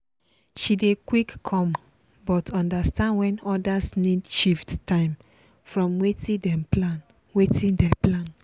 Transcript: she dey quick come but understand when others need shift time from watin dem plan. watin dem plan.